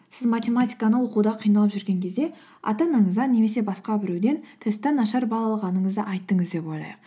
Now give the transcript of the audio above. сіз математиканы оқуда қиналып жүрген кезде ата анаңызға немесе басқа біреуден тесттен нашар бал алғаныңызды айттыңыз деп ойлайық